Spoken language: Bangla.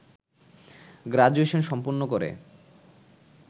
গ্রাজুয়েশন সম্পন্ন করে